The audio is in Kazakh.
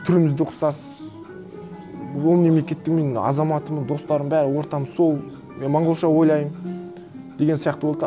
түріміз де ұқсас ол мемлекеттің мен азаматымын достарым бәрі ортам сол мен монғолша ойлаймын деген сияқты болды да